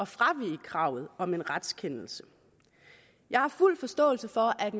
fravige kravet om en retskendelse jeg har fuld forståelse for at